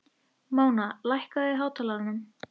Móna, lækkaðu í hátalaranum.